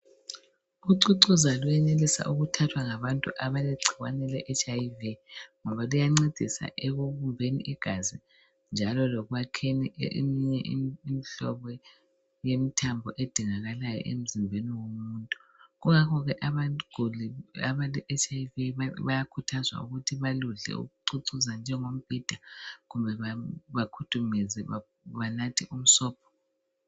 Ucucuza lwenelisa thathwa ngabantu abale HIV ngoba liyancedi ekububeni igazi njalo lokwakheni eminye imihlobo yemthambo edingakalayo emzimbeni womuntu yingakho ke abantu abale HIV bayakhuthazwa ukuthi balicucuze njengombida kumbe bagudumeze banathe umsombo